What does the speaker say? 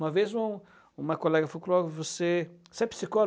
Uma vez um uma colega falou para mim, você você é psicólogo?